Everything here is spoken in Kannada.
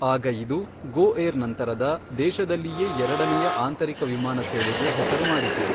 ಆಗ ಇದು ಗೋಏರ್ ನಂತರದ ದೇಶದಲ್ಲಿಯೇ ಎರಡನೆಯ ಆಂತರಿಕ ವಿಮಾನ ಸೇವೆಗೆ ಹೆಸರು ಮಾಡಿತು.